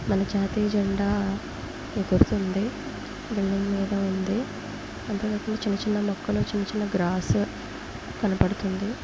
మన జాతీయ జెండా ఎగురుతుంది. బిల్డింగ్ మీద ఉంది. అంతేకాకుండా చిన్నచిన్న మొక్కలు చిన్న చిన్న గ్రాస్ కనబడుతుంది.